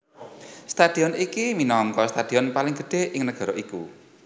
Stadion iki minangka stadion paling gedhé ing negara iku